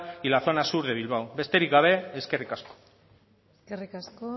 y la zona sur de bilbao besterik gabe eskerrik asko eskerrik asko